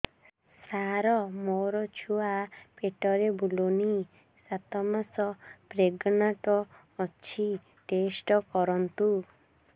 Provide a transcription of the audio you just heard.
ସାର ମୋର ଛୁଆ ପେଟରେ ବୁଲୁନି ସାତ ମାସ ପ୍ରେଗନାଂଟ ଅଛି ଟେଷ୍ଟ କରନ୍ତୁ